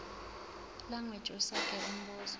language usage umbuzo